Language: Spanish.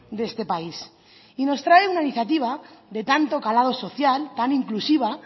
de este país y nos trae una iniciativa de tanto calado social tan inclusiva